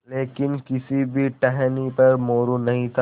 लेकिन किसी भी टहनी पर मोरू नहीं था